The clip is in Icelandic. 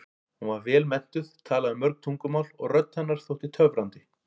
Hún var vel menntuð, talaði mörg tungumál og rödd hennar þótti töfrandi.